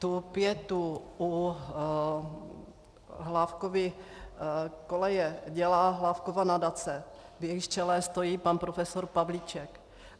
Tu pietu u Hlávkovy koleje dělá Hlávkova nadace, v jejímž čele stojí pan profesor Pavlíček.